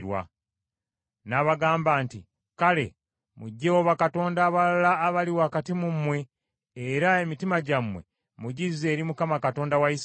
N’abagamba nti, “Kale muggyeewo bakatonda abalala abali wakati mu mmwe, era emitima gyammwe mugizze eri Mukama Katonda wa Isirayiri.”